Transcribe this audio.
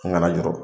N kana jɔrɔ